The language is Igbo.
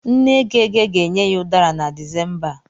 Nne Gege ga-enye ya Udara na Disemba a.